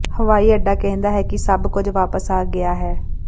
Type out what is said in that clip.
ਹਵਾਈ ਅੱਡਾ ਕਹਿੰਦਾ ਹੈ ਕਿ ਸਭ ਕੁਝ ਵਾਪਸ ਆ ਗਿਆ ਹੈ